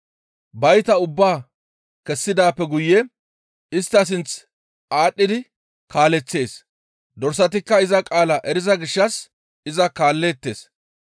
Bayta ubbaa kessidaappe guye istta sinth aadhdhidi kaaleththees; dorsatikka iza qaala eriza gishshas iza kaalleettes.